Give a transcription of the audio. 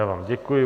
Já vám děkuji.